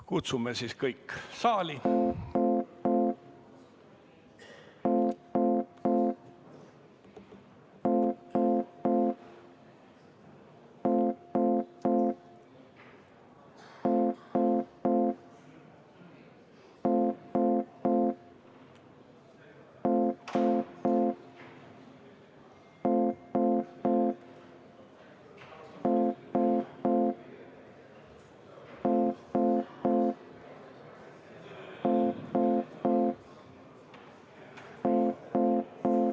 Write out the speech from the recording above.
Kutsume kõik saali.